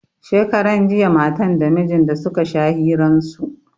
Shekaran jiya matan da mijin da suka sha hiran su.